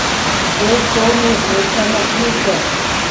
Dve toni vleče na kljuki.